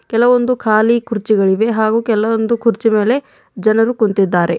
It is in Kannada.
ಕೆಲವೊಂದು ಕಾಲಿ ಕುರ್ಚಿಗಳಿವೆ ಹಾಗೂ ಕೆಲವೊಂದು ಕುರ್ಚಿ ಮೇಲೆ ಜನರು ಕುಂತಿದ್ದಾರೆ.